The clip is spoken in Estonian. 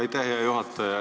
Aitäh, hea juhataja!